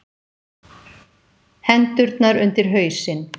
Hendurnar undir hausinn.